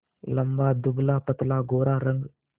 लंबा दुबलापतला गोरा रंग